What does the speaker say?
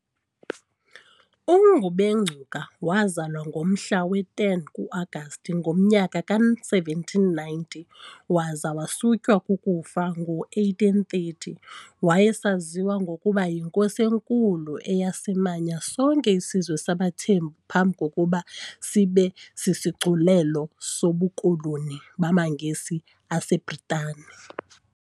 UNgubengcuka wazalwa ngomhla we-10 ku-Agasti ngomnyaka ka1790 waza wasutywa kukufa ngo1830. Wayesaziwa ngokuba yiNkosi eNkulu, eyasimanya sonke isizwe sabaThembu phambi kokuba sibe sisigculelo sobukoloni bamaNgesi aseBritane.